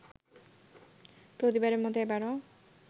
প্রতিবারের মতো এবারও